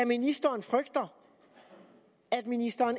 ministeren frygter at ministeren